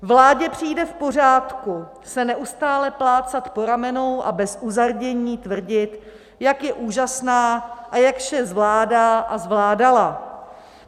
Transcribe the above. Vládě přijde v pořádku se neustále plácat po ramenou a bez uzardění tvrdit, jak je úžasná a jak vše zvládá a zvládala.